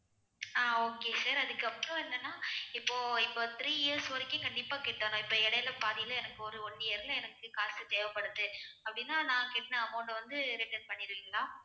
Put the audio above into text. ஆஹ் okay sir அதுக்கு அப்புறம் என்னன்னா இப்போ இப்போ three years வரைக்கும் கண்டிப்பா கட்டணும் இப்போ இடையிலே பாதியிலே எனக்கு போதும் one year ல எனக்கு காசு தேவைப்படுது அப்படின்னா நான் கட்டுன amount அ வந்து return பண்ணிடுவீங்களா